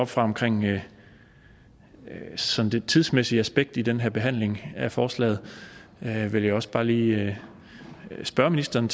fra omkring det sådan tidsmæssige aspekt i den her behandling af forslaget vil jeg også bare lige spørge ministeren